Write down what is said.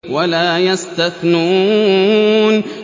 وَلَا يَسْتَثْنُونَ